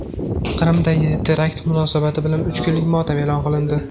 Qrimdagi terakt munosabati bilan uch kunlik motam e’lon qilindi.